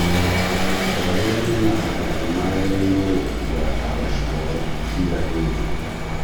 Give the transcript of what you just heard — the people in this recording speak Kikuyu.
Andũ arĩa mena alajĩ magĩrĩirwo gũkua dawa ciao kira hĩndi